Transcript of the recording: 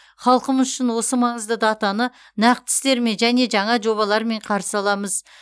халқымыз үшін осы маңызды датаны нақты істермен және жаңа жобалармен қарсы аламыз